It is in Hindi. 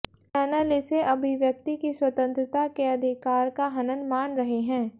चैनल इसे अभिव्यक्ति की स्वतंत्रता के अधिकार का हनन मान रहे हैं